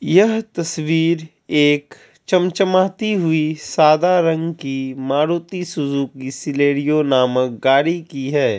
यह तस्वीर एक चमचमाती हुई सादा रंग की मारुति सुजुकी सिलरिओ नामक गाड़ी की है।